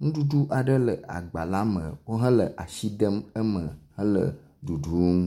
nuɖuɖu aɖe le agba la me wohale asi dem eme hele ɖuɖum.